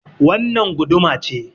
Wannan guduma ce.